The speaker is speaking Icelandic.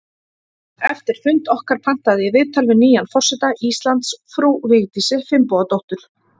Eftir fund okkar pantaði ég viðtal við nýjan forseta Íslands, frú Vigdísi Finnbogadóttur.